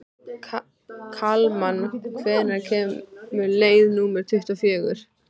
Kalman, hvenær kemur leið númer tuttugu og fjögur?